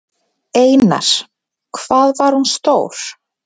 Einar: Hvað var hún stór?